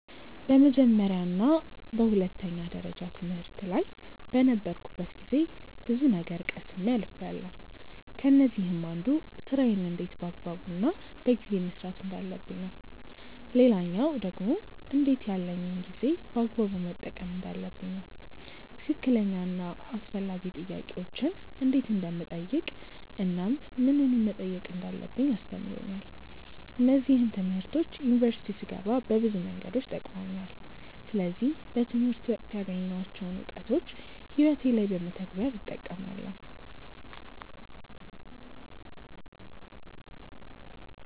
በመጀመርያ እና በሁለተኛ ደረጃ ትምህርት ላይ በነበርኩበት ጊዜ ብዙ ነገር ቀስሜ አልፍያለው። ከነዚህም አንዱ ስራዬን እንዴት በአግባቡ እና በጊዜ መስራት እንዳለብኝ ነው። ሌላኛው ደግሞ እንዴት ያለኝን ጊዜ በአግባቡ መጠቀም እንዳለብኝ ነው። ትክክለኛ እና አስፈላጊ ጥያቄዎችን እንዴት እንደምጠይቅ እናም ምንን መጠየቅ እንዳለብኝ አስተምሮኛል። እነዚህም ትምህርቶች ዩኒቨርሲቲ ስገባ በብዙ መንገዶች ጠቅመውኛል። ስለዚህ በትምህርት ወቅት ያገኘኋቸውን እውቀቶች ህይወቴ ላይ በመተግበር እጠቀማለው።